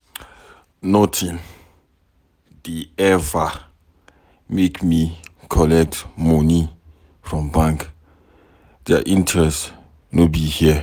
Notin dey eva make me collect moni from bank, their interest no be here.